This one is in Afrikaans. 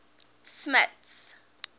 smuts